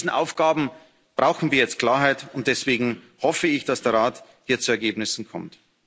Mit all diesen Aufgaben brauchen wir jetzt Klarheit, und deswegen hoffe ich, dass der Rat hier zu Ergebnissen kommt.